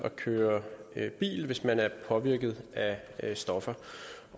at køre bil hvis man er påvirket af stoffer